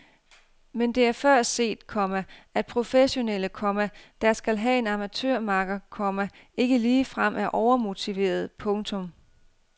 Men det er før set, komma at professionelle, komma der skal have en amatørmakker, komma ikke ligefrem er overmotiverede. punktum